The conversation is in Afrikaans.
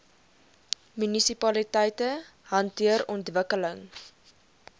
munisipaliteite hanteer ontwikkeling